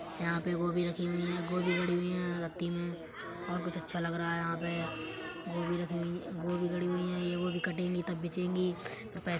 यहां पे गोभी रखी हुई हैं। गोभी गड़ी हुई है रत्ती में और कुछ अच्छा लग रहा है यहां पे। गोभी रखी हुई गोभी गड़ी हुई हैं। ये गोभी कटेंगी तब बीचेंगी अ पै --